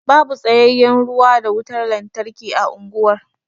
Babu tsayayyen ruwa da wutar lantarki a unguwar.